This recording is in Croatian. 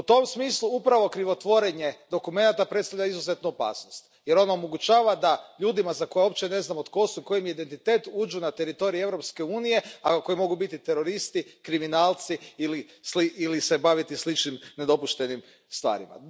U tom smislu upravo krivotvorenje dokumenata predstavlja izuzetnu opasnost jer ono omogućava ljudima za koje uopće ne znamo tko su i koji im je identitet da uđu na teritorij Europske unije, a koji mogu biti teroristi, kriminalci ili se baviti sličnim nedopuštenim stvarima.